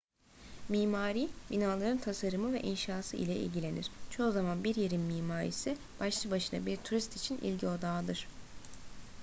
mimari binaların tasarımı ve inşası ile ilgilenir çoğu zaman bir yerin mimarisi başlı başına bir turist için ilgi odağıdır